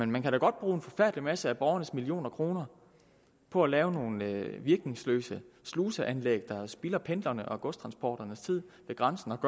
man kan da godt bruge en forfærdelig masse af borgernes millioner kroner på at lave nogle virkningsløse sluseanlæg der spilder pendlernes og godstransportørernes tid ved grænsen